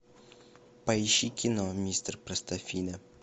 поищи кино мистер простофиля